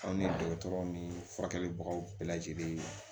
Aw ni dɔgɔtɔrɔw ni furakɛlibagaw bɛɛ lajɛlen